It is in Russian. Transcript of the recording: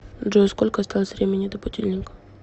джой сколько осталось времени до будильника